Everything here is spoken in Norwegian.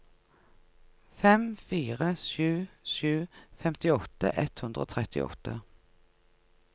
fem fire sju sju femtiåtte ett hundre og trettiåtte